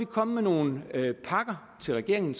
komme med nogle pakker til regeringen